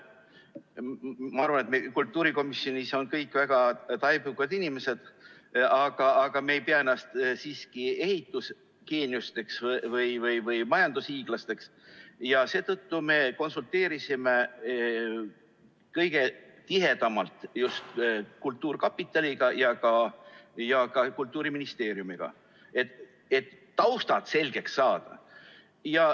Ma arvan, et kultuurikomisjonis on kõik väga taibukad inimesed, aga me ei pea ennast siiski ehitusgeeniusteks või majandushiiglasteks, seetõttu me konsulteerisime kõige tihedamalt just kultuurkapitaliga ja ka Kultuuriministeeriumiga, et taustad selgeks saada.